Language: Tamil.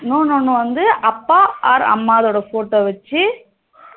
இன்னொன்னு வந்து அப்பா இல்ல அம்மாவோட photo வச்சி